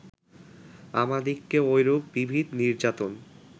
আমাদিগকে ঐরূপ বিবিধ নির্যাতন